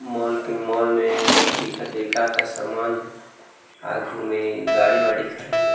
Mall mall में दिखत हे ए का का सामान हे आगू में गाड़ी-वाड़ी खड़े हे।